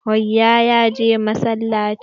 Rayyan ya je masalaci.